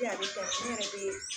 a bɛ kɛ ne yɛrɛ be